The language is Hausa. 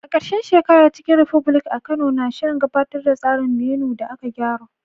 A ƙarshen shekara, Chicken republic a Kano na shirin gabatar da tsarin menu da aka gyara.